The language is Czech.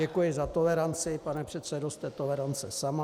Děkuji za toleranci, pane předsedo, jste tolerance sama.